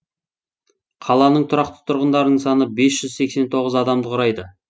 қаланың тұрақты тұрғындарының саны бес жүз сексен тоғыз адамды құрайды